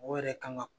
O yɛrɛ kan ka